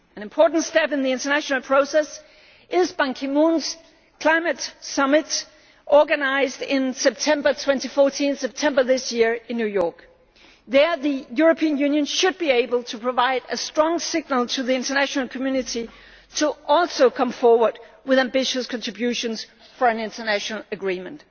An important step in the international process is Ban Ki moon's Climate Summit scheduled for September 2014 in New York. There, the European Union should be able to provide a strong signal to the international community to also come forward with ambitious contributions for an international agreement.